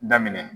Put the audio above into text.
Daminɛ